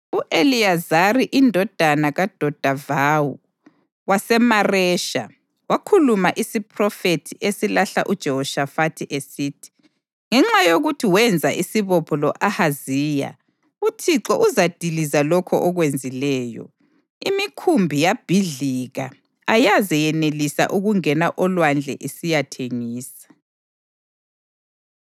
u-Eliyezari indodana kaDodavahu waseMaresha wakhuluma isiphrofethi esilahla uJehoshafathi, esithi, “Ngenxa yokuthi wenza isibopho lo-Ahaziya, uThixo uzadiliza lokho okwenzileyo.” Imikhumbi yabhidlika ayaze yenelisa ukungena olwandle isiyathengisa.